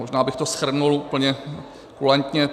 Možná bych to shrnul úplně kulantně.